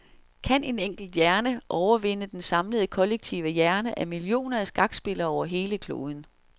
Kan en enkelt hjerne overvinde den samlede kollektive hjerne af millioner af skakspillere over hele kloden.